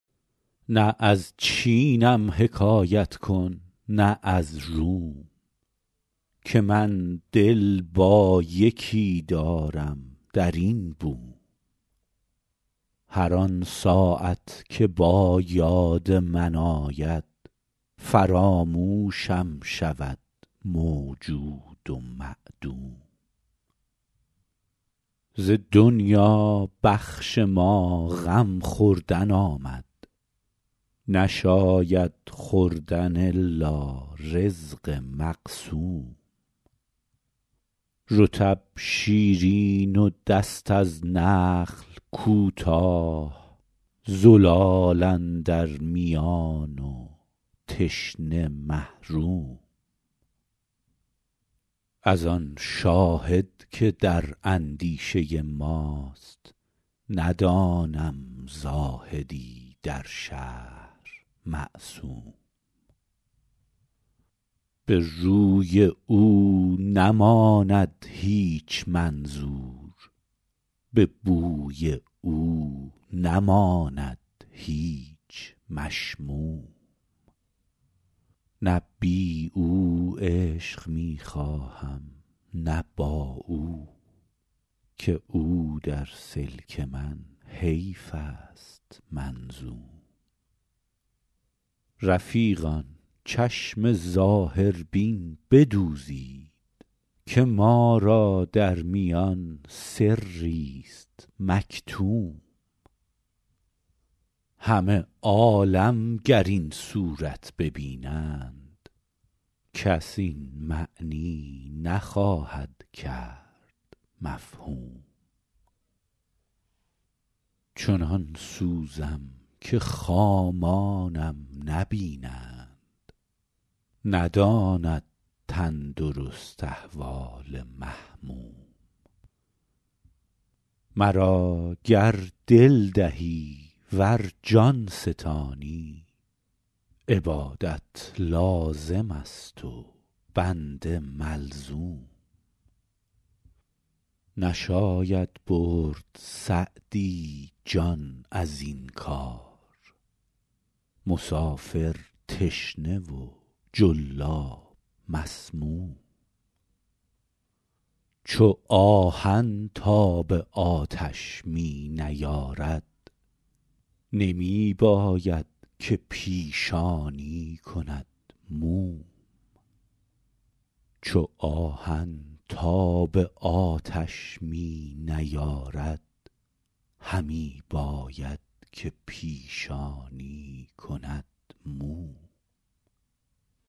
نه از چینم حکایت کن نه از روم که من دل با یکی دارم در این بوم هر آن ساعت که با یاد من آید فراموشم شود موجود و معدوم ز دنیا بخش ما غم خوردن آمد نشاید خوردن الا رزق مقسوم رطب شیرین و دست از نخل کوتاه زلال اندر میان و تشنه محروم از آن شاهد که در اندیشه ماست ندانم زاهدی در شهر معصوم به روی او نماند هیچ منظور به بوی او نماند هیچ مشموم نه بی او عیش می خواهم نه با او که او در سلک من حیف است منظوم رفیقان چشم ظاهربین بدوزید که ما را در میان سریست مکتوم همه عالم گر این صورت ببینند کس این معنی نخواهد کرد مفهوم چنان سوزم که خامانم نبینند نداند تندرست احوال محموم مرا گر دل دهی ور جان ستانی عبادت لازم است و بنده ملزوم نشاید برد سعدی جان از این کار مسافر تشنه و جلاب مسموم چو آهن تاب آتش می نیارد همی باید که پیشانی کند موم